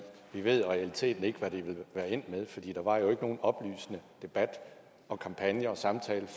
vi ved i realiteten ikke hvad det ville være endt med for der var jo ikke nogen oplysende debat og kampagne og samtale